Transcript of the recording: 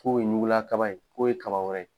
K'o ye ɲugula kaba ye k'o ye kaba wɛrɛ ye.